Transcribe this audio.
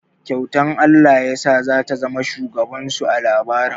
Kyautar Allah yasa za ta zama shugaban su a labarin.